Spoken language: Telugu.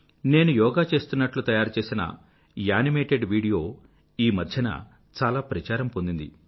నేను యోగా చేస్తున్నట్లు తయారు చేసిన యానిమేటెడ్ వీడియో ఈమధ్యన చాలా ప్రచారం పొందింది